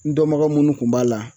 N dɔnbaga munnu kun b'a la